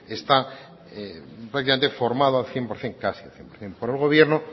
está prácticamente formado al cien por ciento por el gobierno